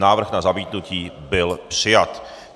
Návrh na zamítnutí byl přijat.